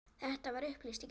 Þetta var upplýst í gær.